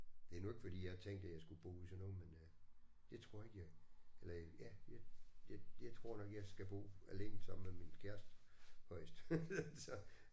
Det er nu ikke fordi jeg har tænkt at jeg skulle bo i sådan noget men øh det tror jeg ikke jeg eller ja jeg jeg jeg tror nok jeg skal bo alene sammen med min kæreste højst så